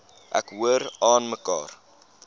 ek hoor aanmekaar